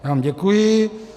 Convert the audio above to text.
Já vám děkuji.